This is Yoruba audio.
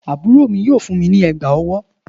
Àbúrò mi yóò fún mi ní ègbà ọwọ́.